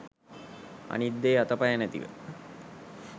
අනිත් දේ අත පය නැතිව